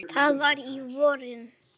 Það var á vorin.